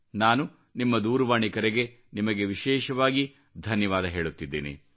ನಾನು ನಿಮ್ಮ ದೂರವಾಣಿ ಕರೆಗೆ ನಿಮಗೆ ವಿಶೇಷವಾಗಿ ಧನ್ಯವಾದ ಹೇಳುತ್ತಿದ್ದೇನೆ